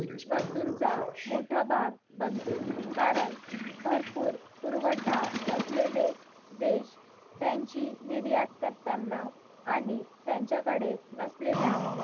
वस्तूंचा मोठा भाग बनतो कारण भरपूर पुरवठा असलेले देश त्यांचे निर्यात करताना आणि त्यांचा कडे नेसलेल्या